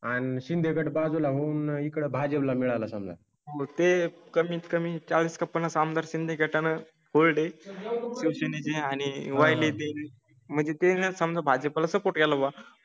आणि शिंदे गट बाजूला होऊन इकडे भाजीपाला मिळाला. समजा मग. ते कमीत कमी चाढीस ते पंचाश आमदार शिंदे गटा नं. फुल डे योजने ची आणि वल्ली म्हणजे ते समजा भाजीपाला